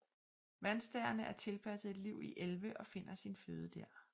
Vandstærene er tilpasset et liv i elve og finder sin føde der